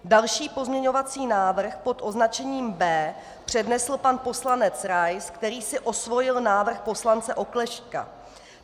Další pozměňovací návrh pod označením B přednesl pan poslanec Rais, který si osvojil návrh poslance Oklešťka.